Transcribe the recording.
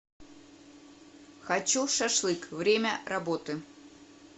хочу шашлык время работы